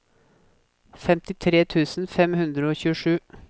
femtitre tusen fem hundre og tjuesju